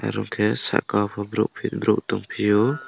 oroke saka o po borok pi borok tongpio.